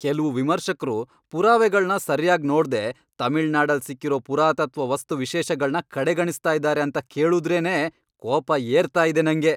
ಕೆಲ್ವು ವಿಮರ್ಶಕ್ರು ಪುರಾವೆಗಳ್ನ ಸರ್ಯಾಗ್ ನೋಡ್ದೆ ತಮಿಳ್ನಾಡಲ್ ಸಿಕ್ಕಿರೋ ಪುರಾತತ್ವ ವಸ್ತುವಿಶೇಷಗಳ್ನ ಕಡೆಗಣಿಸ್ತಾ ಇದಾರೆ ಅಂತ ಕೇಳುದ್ರೇನೇ ಕೋಪ ಏರ್ತಾ ಇದೆ ನಂಗೆ.